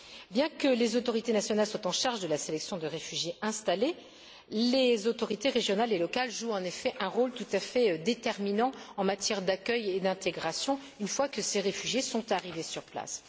Bien que les autorités nationales soient en charge de la sélection de réfugiés installés, les autorités régionales et locales jouent en effet un rôle tout à fait déterminant en matière d'accueil et d'intégration, une fois que ces réfugiés sont arrivés sur place.